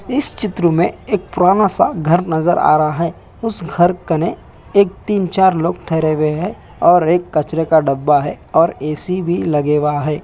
इस चित्र में एक पुराना सा घर नजर आ रहा है उस घर कने एक तीन-चार लोग थेरेवे है और एक कचरे का डब्बा है और ए_सी भी लगेवा है।